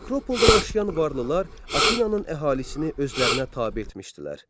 Akropolda yaşayan varlılar Afinann əhalisini özlərinə tabe etmişdilər.